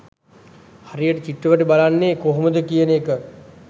හරියට චිත්‍රපටි බලන්නේ කොහොමද කියන එක.